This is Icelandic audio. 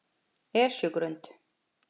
Esjugrund